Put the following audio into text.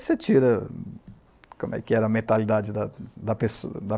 você tira como é que era a mentalidade da da pessoa da